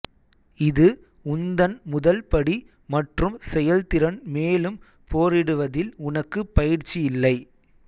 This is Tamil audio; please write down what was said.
இது உந்தன் முதல் படி மற்றும் செயல்திறன் மேலும் போரிடுவதில் உனக்கு பயிற்சி இல்லை